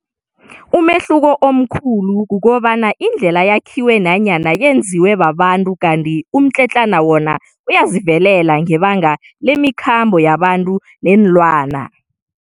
Umehluko omkhulu kukobana indlela yakhiwe nanyana yenziwe babantu kanti umtletlana wona uyazivelela ngebanga lemikhambo yabantu neenlwana.